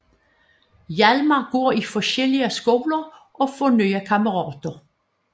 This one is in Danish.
Hjalmar går i forskellige skoler og får nye kammerater